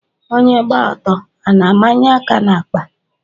Onyé gba ọtọ a na-ámányé áká n'àkpà?